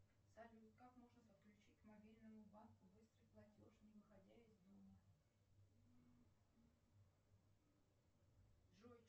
салют как можно подключить к мобильному банку быстрый платеж не выходя из дома джой